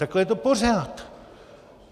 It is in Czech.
Takhle je to pořád.